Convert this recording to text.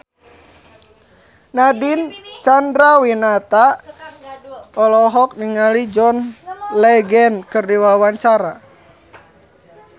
Nadine Chandrawinata olohok ningali John Legend keur diwawancara